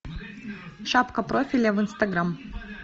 шапка профиля в инстаграм